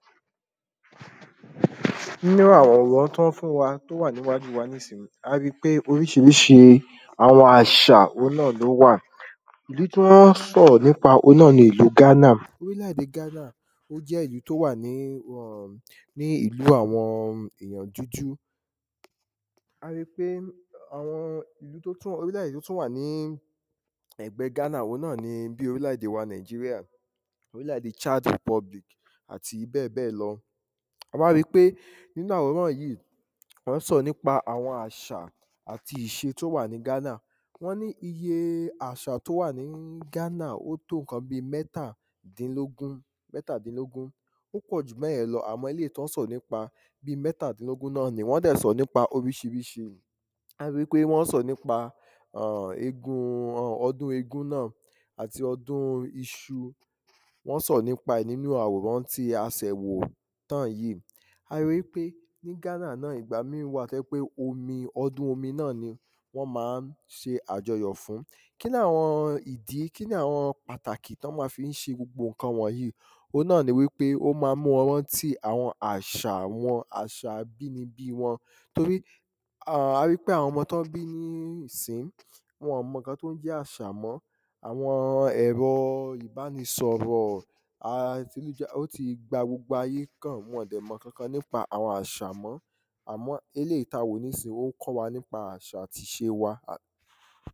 nínú àwòrán tán fún wa, tó wà ní iwájú nísin, a rí i pé oríṣiríṣi àwọn àṣà ohun náà ló wà ìlú tí wọ́n sọ̀rọ̀ nípa, ohun náà ni ìlú ghánà, orílẹ̀de ghánà ó jẹ́ ìlú tó wà ní um ní ìlú àwọn èyàn dúdú a rí i pé àwọn ìlú tó tún orílẹ̀dè tó tún wà ní ẹ̀gbẹ ghánà ohun náà ni bíi orílẹ̀de wa nàíjíríà, orílẹ̀de ṣád rìpọ́blík àti bẹ́ẹ̀bẹ́ẹ̀ lọ a wá rí i pé nínú àwòrán yìí wọ́n sọ̀rọ̀ nípa àṣà àti ìṣe tó wà ní ghánà wọ́n ní iye àṣà tó wà ní ghánà ó tó ǹkan bíi mẹ́tàdínlógún, mẹ́tàdínlógún. ó pọ̀ jù bẹ́yẹn lọ, àmọ́ eléyìí tí wọ́n sọ̀rọ̀ nípa bíi mẹ́tàdínlógún nọ́ nì, wọ́n dẹ̀ sọ̀rọ̀ nípa oríṣiríṣi a ríi ípé wọ́n sọ̀rọ̀ nípa eégún, ọdún eégún náà àti ọdún iṣu. wọ́n sọ̀rọ̀ nípa ẹ̀ nínú àwòrán tí a sẹ̀ wò tán yí a ríi ípé ní ghánà náà ìgbà míì wà tó jẹ́ ípé omi, ọdún omi náà ni wọ́n máa ń ṣe àjọyọ̀ fún kí là wọn ìdí, kí là wọn pàtàkì tán máa fi ń ṣe gbogbo ǹkan wọ̀nyí? ohun náà ni wípé o máa mú wọn rántí àwọn àṣà wọn, àwọn àṣà abínibí wọn torí a rí i pé àwọn ọmọ tán bí nísín-ín, wọn-ọ̀n mọ ǹkan tó ń jẹ́ àṣà mọ́ àwọn ẹ̀rọ ìbánisọ̀rọ̀ a o ti gba gbogbo ayé kàn, wọn-ọ̀n dẹ̀ mọ ǹkankan nípa àwọn àṣà mọ́ àmọ́ eléyìí ta wò nísín-in, ó kọ́ wa nípa àṣà àti ìṣe